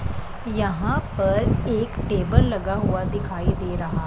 यहां पर एक टेबल लगा हुआ दिखाई दे रहा--